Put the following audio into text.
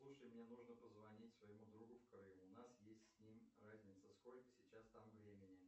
слушай мне нужно позвонить своему другу в крым у нас есть с ним разница сколько сейчас там времени